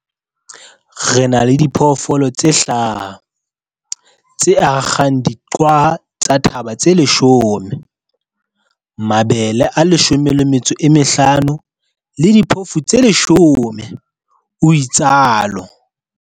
Re na le diphoofolo tse hlaha, tse akgang diqwaha tsa thaba tse 10, mabele a 15 le diphofu tse 10, o itsalo